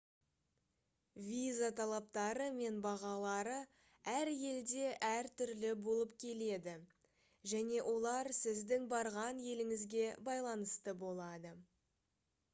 виза талаптары мен бағалары әр елде әр түрлі болып келеді және олар сіздің барған еліңізге байланысты болады